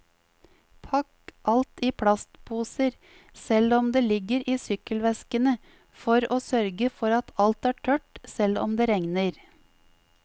Pakk alt i plastposer, selv om det ligger i sykkelveskene, for å sørge for at alt er tørt selv om det regner.